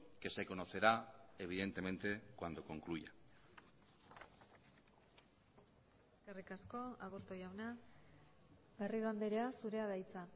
que se conocerá evidentemente cuando concluya eskerrik asko aburto jauna garrido andrea zurea da hitza